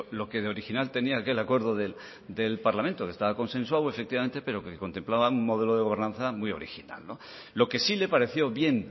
lo que de original tenía aquel acuerdo del parlamento que estaba consensuado efectivamente pero que contemplaba un modelo de gobernanza muy original lo que sí le pareció bien